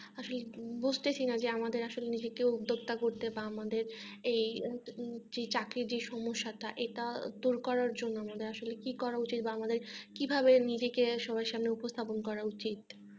আসলে বুঝছি না যে আমাদের আসলে নিজেকেও উদ্যোক্তা করতে বা আমাদের এই চাকরির যে সমস্যা টা এটা দূর করার জন্য আমাদের আসলে কি করা উচিত বা আমাদের কিভাবে নিজেকে সবার সামনে উপস্থাপন করা উচিত